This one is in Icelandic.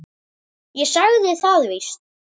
Ég sagði það víst.